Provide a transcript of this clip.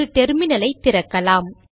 ஒரு டெர்மினல் ஐ திறக்கலாம்